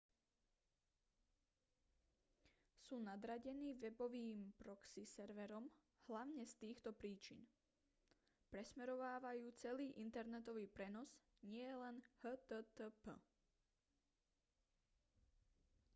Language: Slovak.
sú nadradení webovým proxy serverom hlavne z týchto príčin presmerovávajú celý internetový prenos nielen http